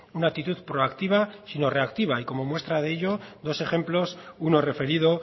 una actitud proactiva sino reactiva y como muestra de ello dos ejemplos uno referido